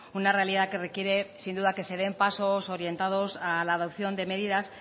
una realidad que requiere sin duda que se den pasos orientados a la adopción de medidas